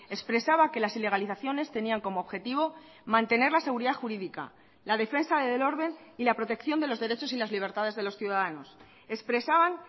expresaba que las ilegalizaciones tenían como objetivo mantener la seguridad jurídica la defensa del orden y la protección de los derechos y las libertades de los ciudadanos expresaban